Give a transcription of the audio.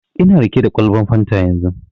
Ina riƙe da kwalban fanta yanzu